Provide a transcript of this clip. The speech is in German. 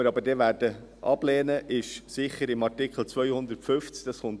Ablehnen werden wir aber dann sicher beim Artikel 250.